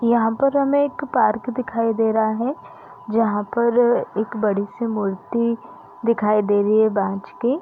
यहाँ पर हमें एक पार्क दिखाई दे रहा हैं जहाँ पर एक बड़ी सी मूर्ति दिखाई दे रही हैं बाज के--